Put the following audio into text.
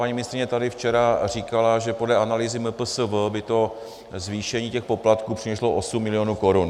Paní ministryně tady včera říkala, že podle analýzy MPSV by to zvýšení těch poplatků přineslo 8 milionů korun.